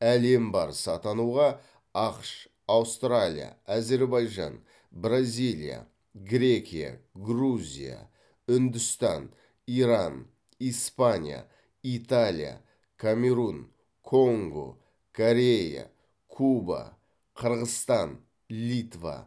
әлем барысы атануға ақш аустралия әзербайжан бразилия грекия грузия үндістан иран испания италия камерун конго корея куба қырғызстан литва